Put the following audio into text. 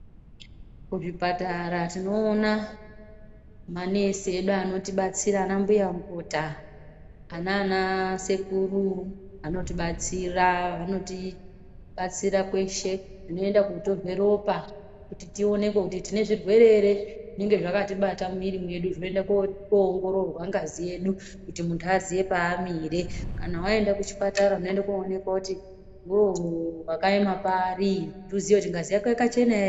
Kuzvipatara tinoona manesi edu anoti batsira anambuya mukuta anana sekuru vanotibatsira vanoti batsira kweshe kunoendwa kootorwe ropa kuti tioonekwe kuti tine zvirwre ere zvinenge zvakatibata mumwiri mwedu zvinoenda koongororwa ngazi yedu kuti muntu aziye paamire, kana waenda kuchipatara unoende koonekwa kuti iwewe wakaema pari kuti uziye kuti ngazi yako yakachena ere kana kuti kwete.